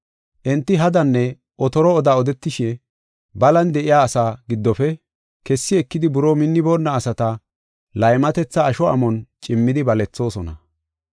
Enti hadanne otoro oda odetishe balan de7iya asaa giddofe kessi ekidi buroo minniboonna asata laymatetha asho amon cimmidi balethoosona.